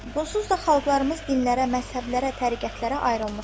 Bunsuz da xalqlarımız dillərə, məzhəblərə, təriqətlərə ayrılmışdı.